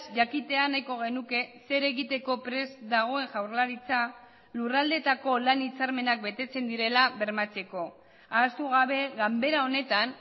jakitea nahiko genuke zer egiteko prest dagoen jaurlaritza lurraldeetako lan hitzarmenak betetzen direla bermatzeko ahaztu gabe ganbera honetan